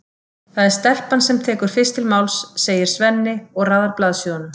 Það er stelpan sem tekur fyrst til máls, segir Svenni og raðar blaðsíðunum.